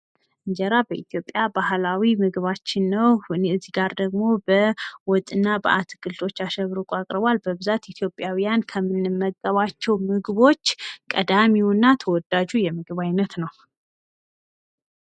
እንጀራ በኢትዮጵያ ሃገራችን ባህላዊ ምግባችን ሲሆን ፤ በምስሉ ላይ ደግሞ በወጥና አትክልቶች አሸብርቆ ቀርቧል። በብዛት ኢትዮጵያዊያን ከምንመገባቸው ምግቦች ዋነኛውና ተዎዳጁ የኢትዮጵያ ምግብ ነው።